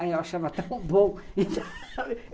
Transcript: Aí eu achava tão bom